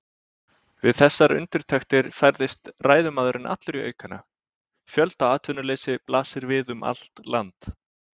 Við þessar undirtektir færðist ræðumaðurinn allur í aukana: Fjöldaatvinnuleysi blasir við um allt land.